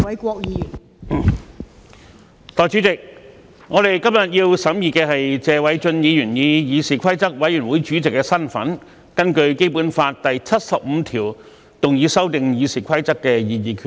代理主席，我們今天要審議的，是謝偉俊議員以議事規則委員會主席的身份，根據《基本法》第七十五條動議修訂《議事規則》的擬議決議案。